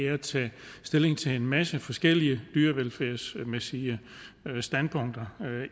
at tage stilling til en masse forskellige dyrevelfærdsmæssige standpunkter og